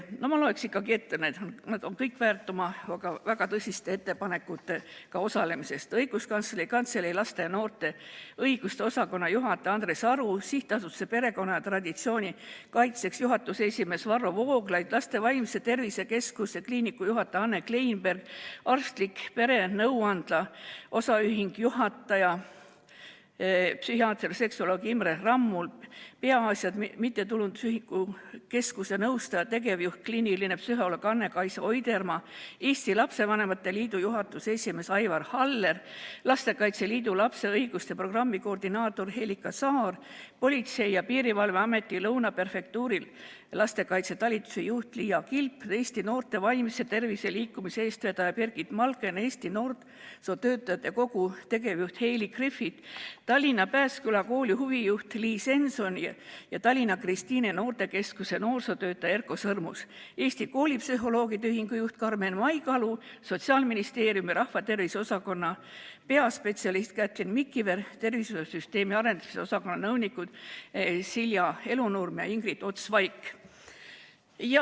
Ma loen nad ikkagi ette, nad kõik on seda väärt, kuna on osalenud väga tõsiste ettepanekutega: Õiguskantsleri Kantselei laste ja noorte õiguste osakonna juhataja Andres Aru, SA Perekonna ja Traditsiooni Kaitseks juhatuse esimees Varro Vooglaid, Laste Vaimse Tervise Keskuse kliiniku juhataja Anne Kleinberg, OÜ Arstlik Perenõuandla juhataja, psühhiaater-seksuoloog Imre Rammul, Peaasjad MTÜ keskuse nõustaja, tegevjuht, kliiniline psühholoog Anna-Kaisa Oidermaa, Eesti Lastevanemate Liidu juhatuse esimees Aivar Haller, Lastekaitse Liidu lapse õiguste programmi koordinaator Helika Saar, Politsei- ja Piirivalveameti Lõuna prefektuuri lastekaitsetalituse juht Liia Kilp, Eesti Noorte Vaimse Tervise Liikumise eestvedaja Birgit Malken, Eesti Noorsootöötajate Kogu tegevjuht Heili Griffith, Tallinna Pääsküla Kooli huvijuht Liis Enson ja Tallinna Kristiine noortekeskuse noorsootöötaja Erko Sõrmus, Eesti Koolipsühholoogide Ühingu juht Karmen Maikalu, Sotsiaalministeeriumi rahvatervise osakonna peaspetsialist Käthlin Mikiver, tervisesüsteemi arendamise osakonna nõunikud Silja Elunurm ja Ingrid Ots-Vaik.